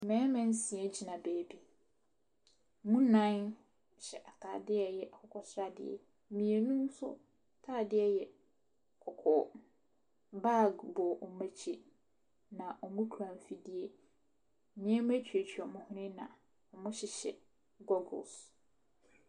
Mmarima nsia gyina baabi. Ɛmu nnan hyɛ atadeɛ a ɛyɛ akokɔsradeɛ. Mmienu nso atadeɛ yɛ kɔkɔɔ. Bag bɔ wɔn akyi, na wɔkura mfidie. Nneɛma tuatua wɔn hwene, na wɔhyehyɛ gogles.